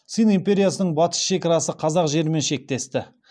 цинь империясының батыс шекарасы қазақ жерімен шектесті